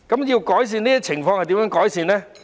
要改善這些情況，可以怎樣做？